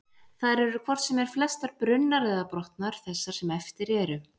Þær eru hvort sem er flestar brunnar eða brotnar, þessar sem eftir eru.